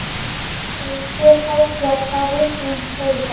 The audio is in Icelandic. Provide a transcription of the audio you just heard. Og spyr háðslega hvað rithöfundurinn segi gott.